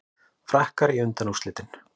Frakkar í undanúrslitin